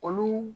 Olu